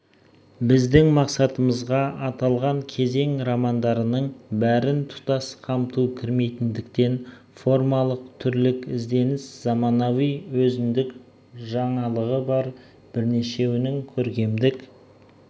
біздің мақсатымызға аталған кезең романдарының бәрін тұтас қамту кірмейтіндіктен формалық түрлік ізденіс заманауи өзіндік жаңалығы бар бірнешеуінің көркемдік